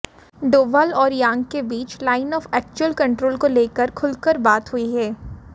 डोभाल और यांग के बीच लाइन ऑफ एक्चुअल कंट्रोल को लेकर खुलकर बात हुई है